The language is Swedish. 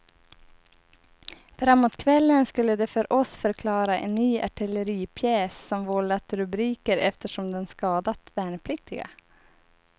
Framåt kvällen skulle de för oss förklara en ny artilleripjäs som vållat rubriker eftersom den skadat värnpliktiga.